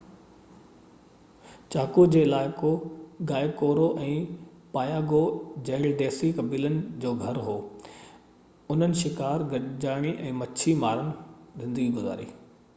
چاڪو جو علائقو Guaycuru ۽ Payagua جهڙن ديسي قبيلن جو گهر هو انهن شڪار گڏجاڻي ۽ مڇي ماري زندگي گذاري